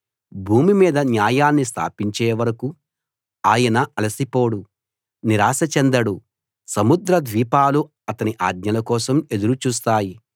భూమి మీద న్యాయాన్ని స్థాపించే వరకూ ఆయన అలసిపోడు నిరాశ చెందడు సముద్ర ద్వీపాలు అతని ఆజ్ఞల కోసం ఎదురు చూస్తాయి